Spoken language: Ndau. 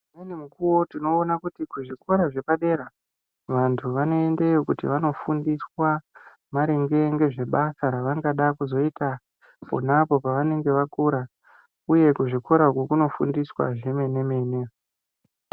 Mumweni mukowo timboona kuti kuzvikora zvepadera vantu vanoendeyo kuti vandofundiswa maringe ngezvebasa ravangada kuzoita ponapo pavanenge vakura uye kuzvikora uku kunofundiswa zvemene mene.